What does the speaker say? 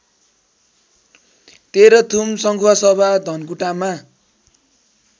Terhathum Sankhuwasabha धनकुटामा